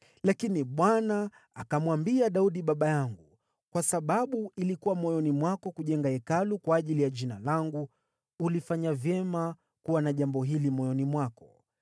Lakini Bwana akamwambia Daudi baba yangu, ‘Kwa sababu ilikuwa moyoni mwako kujenga Hekalu kwa ajili ya Jina langu, ulifanya vyema kuwa na jambo hili moyoni mwako.